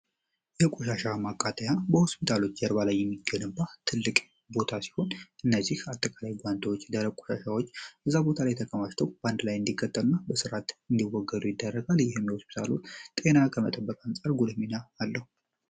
የቆሻሻ ማቃጠያ በሆስፒታሎች ጀርባ ላይ የሚገንባ ትልቅ ቦታ ሲሆን፤ እነዚህ አጠቃላይ ጓንቶች፣ ደረቅ ቆሻሻዎች እዛ ቦታ ላይ ተከማሽተው በአንድ ላይ እንዲቃጠሉ እና በሥርዓት እንዲወገዱ ይዳረጋል። ይህም ለሆስፒታሉ ጤና ከመጠበቅ አንፀር ጉልህ ሚና አለው።